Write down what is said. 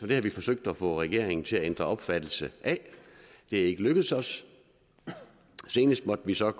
det har vi forsøgt at få regeringen til at ændre sin opfattelse af det er ikke lykkedes os og senest har vi så